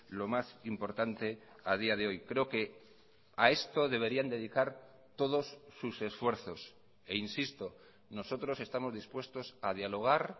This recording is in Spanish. lo más importante a día de hoy creo que a esto deberían dedicar todos sus esfuerzos e insisto nosotros estamos dispuestos a dialogar